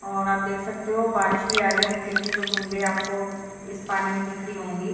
और आप देख सकते हो बारिश भी आ रही है हल्की हल्की जो बूंदे आपको इस पानी में दिख रही होंगी।